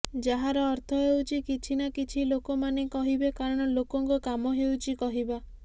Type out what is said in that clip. ଯାହାର ଅର୍ଥ ହେଉଛି କିଛି ନା କିଛି ଲୋକ ମାନେ କହିବେ କାରଣ ଲୋକଙ୍କ କାମ ହେଉଛି କହିବା